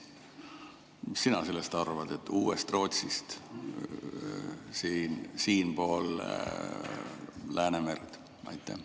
Mis sina sellest arvad, uuest Rootsist siinpool Läänemerd?